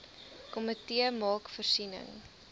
komitee maak voorsiening